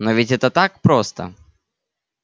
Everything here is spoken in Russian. но ведь это так просто